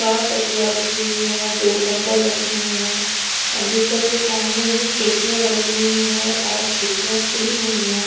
चार तकिया रखी हुई है दो कम्बल रखे हुए हैं और बिस्तर के सामने ही खिड़कियाँ बनी हुई हैं और खिड़कियाँ खुली हुई हैं।